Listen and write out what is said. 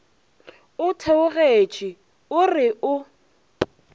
o theogetše o re o